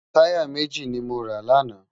Tàyá méji ni mó rá làná